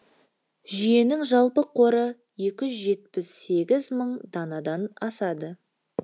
жүйенің жалпы қоры екі жүз жетпіс сегіз мың данадан асады